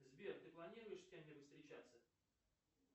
сбер ты планируешь с кем нибудь встречаться